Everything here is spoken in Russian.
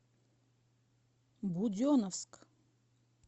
буденновск